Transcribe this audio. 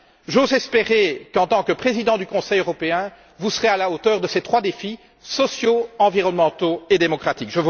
J'ose espérer qu'en tant que président du Conseil européen vous serez à la hauteur de ces trois types de défis sociaux, environnementaux et démocratiques.